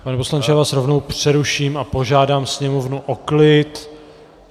Pane poslanče, já vás rovnou přeruším a požádám sněmovnu o klid.